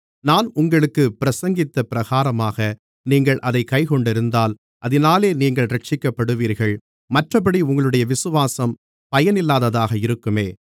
நான் உங்களுக்குப் பிரசங்கித்தபிரகாரமாக நீங்கள் அதைக் கைக்கொண்டிருந்தால் அதினாலே நீங்கள் இரட்சிக்கப்படுவீர்கள் மற்றப்படி உங்களுடைய விசுவாசம் பயனில்லாததாக இருக்குமே